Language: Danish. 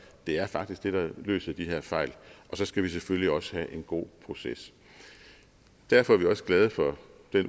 er faktisk det der løser de her fejl og så skal vi selvfølgelig også have en god proces derfor er vi også glade for det